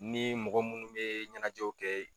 N ni mɔgɔ munnu bɛ ɲɛnajɛw kɛ